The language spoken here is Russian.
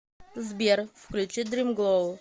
сбер включи дрим глоу